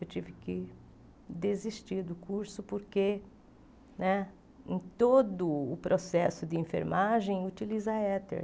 Eu tive que desistir do curso porque né em todo o processo de enfermagem utiliza éter.